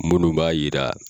Munnu b'a jira